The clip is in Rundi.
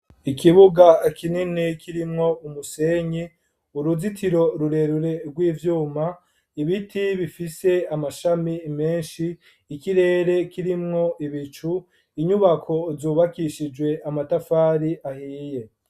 Ikibuga kinini kirimwo umusenyi uruzitiro rurerure rw'ivyuma ibiti bifise amashami meshi ikirere kirimwo ibicu inyubako zubakishijwe amatafari ahiye.